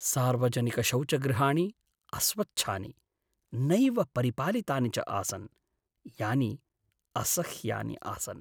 सार्वजनिकशौचगृहाणि अस्वच्छानि, नैव परिपालितानि च आसन्, यानि असह्यानि आसन्।